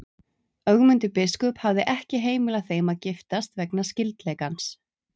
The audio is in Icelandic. Ögmundur biskup hafði ekki heimilað þeim að giftast vegna skyldleikans.